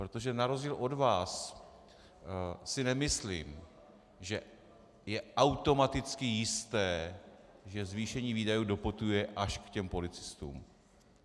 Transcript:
Protože na rozdíl od vás si nemyslím, že je automaticky jisté, že zvýšení výdajů doputuje až k těm policistům.